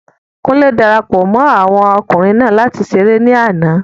Kúnlé darapọ̀ mọ́ àwọn okunrin naa láti ṣeré ní àná